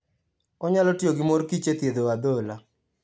Onyalo tiyo gi mor kich e thiedho adhola.